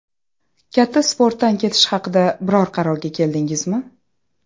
Katta sportdan ketish haqida biror qarorga keldingizmi?